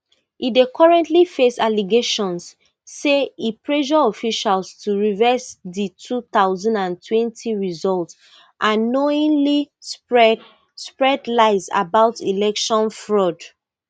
e dey currently face allegations say e pressure officials to reverse di two thousand and twenty results and knowingly spread spread lies about election fraud